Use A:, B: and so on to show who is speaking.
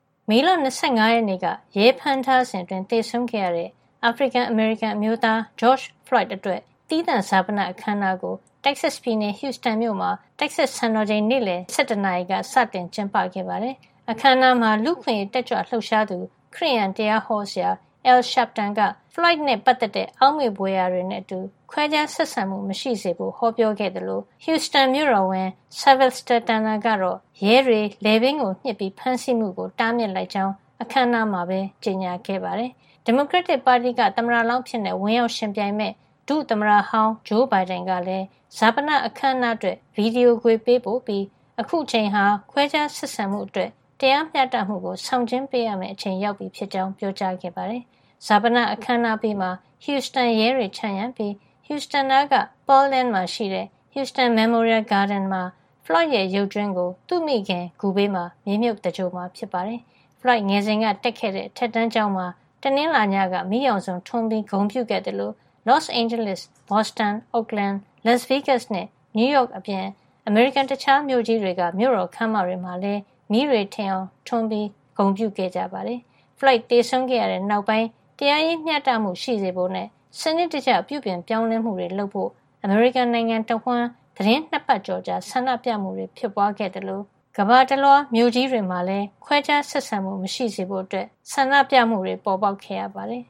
A: မေလ ၂၅ ရက်နေ့က ရဲဖမ်းထားစဉ်အတွင်း သေဆုံးခဲ့ရတဲ့ အာဖရိကန် - အမေရိကန် အမျိုးသား George Floyd အတွက် သီးသန့်ဈာပန အခမ်းအနားကို Texas ပြည်နယ်က Houston မြို့မှာ Texas စံတော်ချိန် နေ့လည် ၁၁ နာရီက စတင်ကျင်းပခဲ့ပါတယ်။ အခမ်းအနားမှာ လူ့အခွင့်ရေးတက်ကြွလှုပ်ရှားသူ ခရစ်ယာန်တရားဟောဆရာ Al Sharpton က Floyd နဲ့ပတ်သက်တဲ့ အောက်မေ့ဘွယ် ရာတွေနဲ့အတူ ခွဲခြားဆက်ဆံမှု မရှိစေဖို့ ဟောပြောခဲ့သလို Huston မြို့တော်ဝန် Sylvester Turner ကတော့ ရဲတွေ လည်ပင်းကို ညှစ်ပြီး ဖမ်းဆီးမှုကို တားမြစ်လိုက်ကြောင်း အခမ်းအနားမှာပဲ ကြေညာခဲ့ပါတယ်။ ဒီမိုကရက်တစ်ပါတီက သမ္မတလောင်းအဖြစ် ဝင်ရောက်ယှဉ်ပြိုင်မယ့် ဒုသမ္မတဟောင်း ဂျိုးဘိုင်ဒင်က လည်း ဈာပနအခမ်းအနားအတွက် ဗီဒီယို ခွေ ပေးပို့ပြီး အခုအချိန်ဟာ ခွဲခြားဆက်ဆံမှုအတွက် တရားမ ျှတမှုကို ဆောင်ကျဉ်းပေးရမယ့်အချိန်ရောက်ပြီ ဖြစ်ကြောင်း ပြောပါတယ်။ ဈာပန အခမ်းအနားအပြီးမှာ Houston ရဲတွေ ခြံရံပြီး Houston နားက Pearland မှာ ရှိတဲ့ Houston Memorial Gardens မှာ Floyd ရဲ့ ရုပ်ကြွင်းကို သူ့မိခင် ဂူဘေးမှာ မြေမြုပ် သင်္ဂြ ိုလ်မှာ ဖြစ်ပါတယ်။ Floyd ငယ်စဉ်က တက်ခဲ့တဲ့ အထက်တန်းကျောင်းမှာ တနင်္လာနေ့ညက မီးရောင်စုံထွန်းပြီး ဂုဏ်ပြု ခဲ့သလို Los Angeles, Boston, Oakland, Las Vegas နဲ့ New York အပြင် အမေရိကန် တခြားမြို့ကြီးတွေက မြို့တော်ခန်းမတွေမှာလည်း မီးတွေ ထိန်အောင်ထွန်းပြီး ဂုဏ်ပြုခဲ့ပါတယ်။ Floyd သေဆုံးခဲ့တဲ့ နောက်ပိုင်း တရားရေး မ ျှတမှု ရှိစေဖို့နဲ့ စနစ်တကျ ပြုပြင်ပြောင်းလဲမှုတွေ လုပ်ဖို့ အမေရိကန်နိုင်ငံတဝှမ်း သီတင်း ၂ ပတ်ကျော်ကြာ ဆန္ဒပြမှုတွေ ဖြစ်ပွားခဲ့သလို ကမ္ဘာတလွှား မြို့ကြီးတွေမှာ ခွဲခြားဆက်ဆံမှု မရှိစေဖို့ ဆန္ဒပြမှုတွေ ပေါ်ပေါက်ခဲ့ရပါတယ်